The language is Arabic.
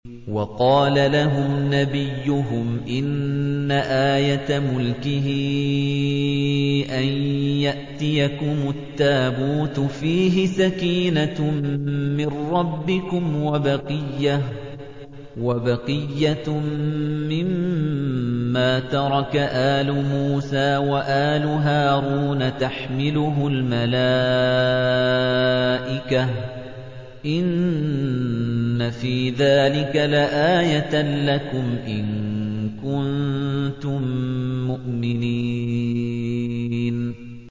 وَقَالَ لَهُمْ نَبِيُّهُمْ إِنَّ آيَةَ مُلْكِهِ أَن يَأْتِيَكُمُ التَّابُوتُ فِيهِ سَكِينَةٌ مِّن رَّبِّكُمْ وَبَقِيَّةٌ مِّمَّا تَرَكَ آلُ مُوسَىٰ وَآلُ هَارُونَ تَحْمِلُهُ الْمَلَائِكَةُ ۚ إِنَّ فِي ذَٰلِكَ لَآيَةً لَّكُمْ إِن كُنتُم مُّؤْمِنِينَ